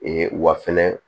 Ee wa fɛnɛ